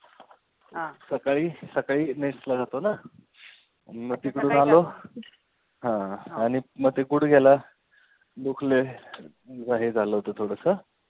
सकाळी सकाळी nest ला जातो ना मग तिकडून आलो. हा आणि मग ते गुडघ्याला दुखलयला हे झालं होते थोडंसं.